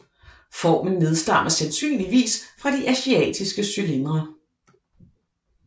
Formen nedstammer sandsynligvis fra de asiatiske cylindre